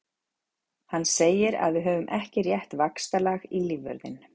Hann segir að við höfum ekki rétt vaxtalag í lífvörðinn.